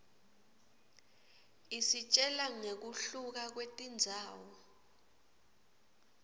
isitjela nqekuhluka kwetindzawo